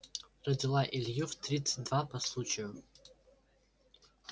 родила илью в тридцать два по случаю